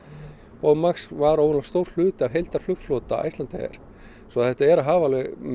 Boeing Max var ógurlega stór hluti af Icelandair svo þetta er að hafa